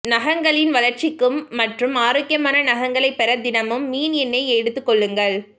நகங்களின் வளர்ச்சிக்கு மற்றும் ஆரோக்கியமான நகங்களை பெற தினமும் மீன் எண்ணெய் எடுத்துக்கொள்ளுங்கள்